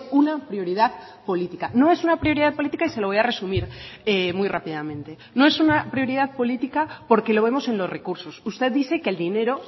una prioridad política no es una prioridad política y se lo voy a resumir muy rápidamente no es una prioridad política porque lo vemos en los recursos usted dice que el dinero